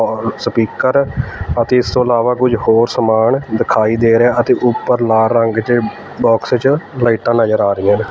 ਔਰ ਸਪੀਕਰ ਅਤੇ ਇਸ ਤੋਂ ਇਲਾਵਾ ਕੁਝ ਹੋਰ ਸਮਾਨ ਦਿਖਾਈ ਦੇ ਰਿਹਾ ਅਤੇ ਉੱਪਰ ਲਾਲ ਰੰਗ ਚ ਬਾਕਸ ਚ ਲਾਈਟਾਂ ਨਜ਼ਰ ਆ ਰਹੀਆਂ ਨੇ।